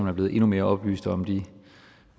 er blevet endnu mere oplyste om de